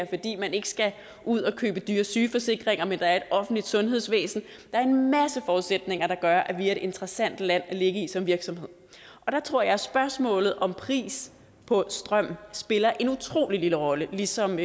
fordi man ikke skal ud at købe dyre sygeforsikringer men at der er et offentligt sundhedsvæsen der er en masse forudsætninger der gør at vi er et interessant land at ligge i som virksomhed der tror jeg at spørgsmålet om pris på strøm spiller en utrolig lille rolle ligesom